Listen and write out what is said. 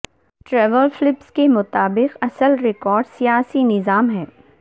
Trevor Phillips کے مطابق اصل رکاوٹ سیاسی نظام ہے